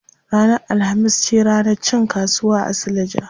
Ranar alhamis ce ranar cin kasuwa a suleja.